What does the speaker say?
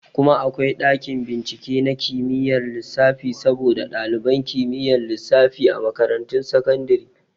Kuma akwai ɗakin bincike na kimiyar lissafi saboda ɗaliban kimiyyar lissafi a makarantun sakandare